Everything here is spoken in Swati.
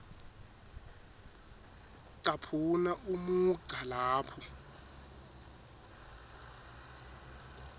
caphuna umugca lapho